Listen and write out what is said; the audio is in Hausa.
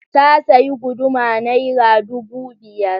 Ta sayi guduma Naira ɗubu biyar.